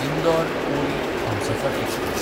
इंदोर–पुरी Humsafar express